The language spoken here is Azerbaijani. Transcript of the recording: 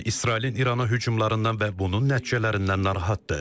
Çin İsrailin İrana hücumlarından və bunun nəticələrindən narahatdır.